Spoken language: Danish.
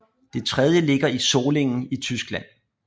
Det tredje ligger i Solingen i Tyskland